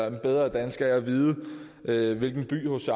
en bedre dansker af at vide hvilken by hc